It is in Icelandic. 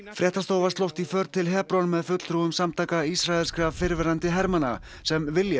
fréttastofa slóst í för til Hebron með fulltrúum samtaka ísraelskra fyrrverandi hermanna sem vilja